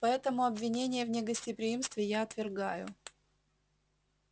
поэтому обвинения в негостеприимстве я отвергаю